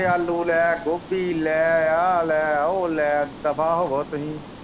ਕੇ ਆਲੂ ਲੈਅ ਗੋਭੀ ਲੈਅ ਇਹ ਲੈ ਓ ਲੈਅ ਦੱਫਾ ਹੋਵੋ ਤੂੰ ਹੀ।